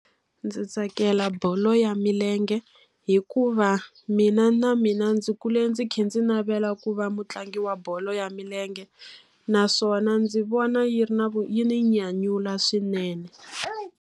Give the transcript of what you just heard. Ndzi tsakela bolo ya milenge, hikuva mina na mina ndzi kule ndzi kha ndzi navela ku va mutlangi wa bolo ya milenge. Naswona ndzi vona yi ri na yi ni nyanyula swinene.